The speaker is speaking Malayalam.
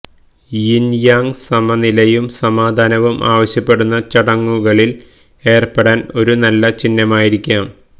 യിൻ യാങ് സമനിലയും സമാധാനവും ആവശ്യപ്പെടുന്ന ചടങ്ങുകളിൽ ഏർപ്പെടാൻ ഒരു നല്ല ചിഹ്നമായിരിക്കാം